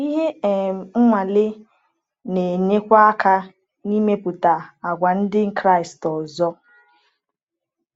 Ihe um nwale na-enyekwa aka n’ịmepụta àgwà ndị Kraịst ọzọ.